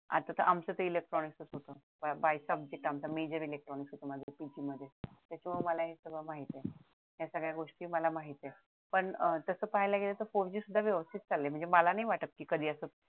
आता तर आमचं ते इलेट्रॉनिक च त्याच्यामुळे मला हे सगळं माहितीये या सगळ्या गोष्टी मला माहित आहेत पण तस पाहिला गेलं तर four G सुद्धा व्यवस्थित चाललंय म्हणजे मला नाही वाटत कि कधी असं